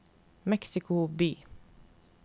Mexico by